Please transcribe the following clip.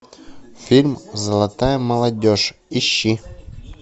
фильм золотая молодежь ищи